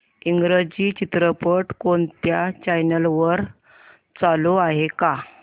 इंग्रजी चित्रपट कोणत्या चॅनल वर चालू आहे का